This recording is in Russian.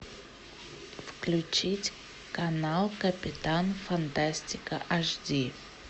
включить канал капитан фантастика аш ди